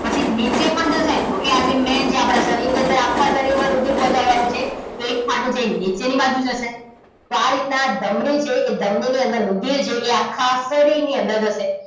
પછી નીચે પણ જશે ઓકે આ જે main છે આપણા શરીરની અંદર આખા શરીરમાં રુધિર પહોચાડવા નું છે એક ફાટો નીચેની બાજુ જશે આ રીતના ધમની છે એ ધમની ની અંદર રુધિર એ જે આખા શરીરની અંદર જશે